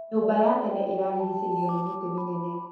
Nyũmba ya tene ĩrarĩgĩcĩirio nĩ mĩtĩ mĩnene.